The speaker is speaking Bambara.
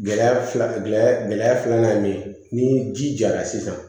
Gɛlɛya filanan gɛlɛya gɛlɛya filanan ye min ye ni ji jara sisan